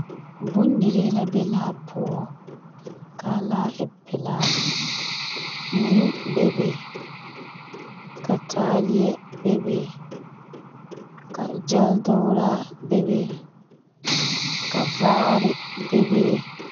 Bondirii la be laa poɔ. Kaa laa e pelaa. Mui bebe. Ka taaleɛ bebe. Ka gyɛl-dograa bebe. Ka vaare bebe.